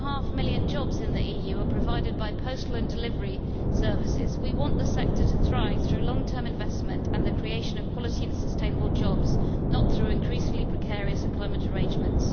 1.5 million jobs in the EU are provided by postal and delivery services. We want the sector to thrive through long term investment and the creation of quality and sustainable jobs, not through increasingly precarious employment arrangements.